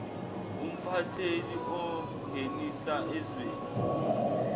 umphatheli ongenisa ezweni